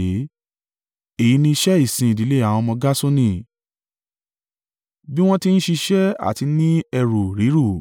“Èyí ni iṣẹ́ ìsìn ìdílé àwọn ọmọ Gerṣoni, bí wọ́n ti ń ṣiṣẹ́ àti ní ẹrù rírù.